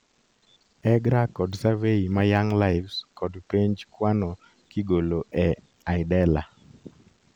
EGRA kod survey ma Young LIves kod penj kwano kigolo e IDELA